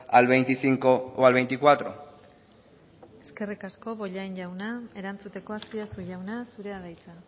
al veinticinco o al veinticuatro eskerrik asko bollain jauna erantzuteko azpiazu jauna zurea da hitza